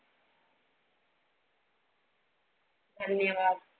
धन्यवाद.